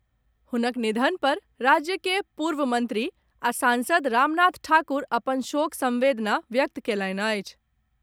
हुनक निधन पर राज्य के पूर्व मंत्री आ सांसद रामनाथ ठाकुर अपन शोक संवेदना व्यक्त कयलनि अछि।